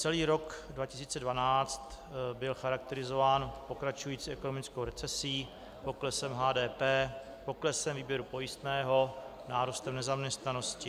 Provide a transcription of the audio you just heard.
Celý rok 2012 byl charakterizován pokračující ekonomickou recesí, poklesem HDP, poklesem výběru pojistného, nárůstem nezaměstnanosti.